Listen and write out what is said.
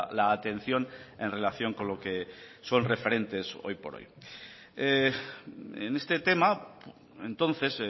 la atención en relación con lo que son referentes hoy por hoy en este tema entonces